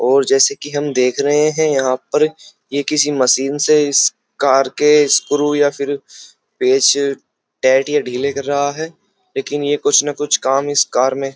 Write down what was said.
और जैसे कि हम देख रहे हैं यहाँ पर ये किसी मशीन से इस कार के स्क्रू या फिर पेंच टाइट या ढ़ीले कर रहा है लेकिन ये कुछ ना कुछ काम इस कार में --